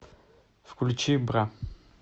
включи бра